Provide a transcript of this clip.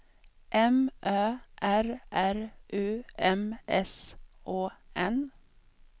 M Ö R R U M S Å N